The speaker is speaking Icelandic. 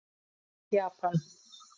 Japan